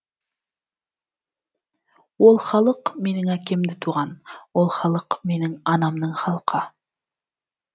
ол халық менің әкемді туған ол халық менің анамның халқы